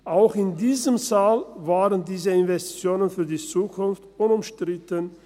Auch in diesem Saal waren diese Investitionen für die Zukunft unumstritten.